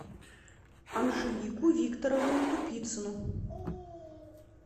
анжелику викторовну тупицыну